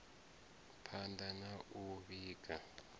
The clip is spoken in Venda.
phand a na u vhiga